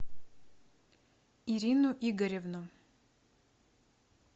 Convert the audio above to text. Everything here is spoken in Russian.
ирину игоревну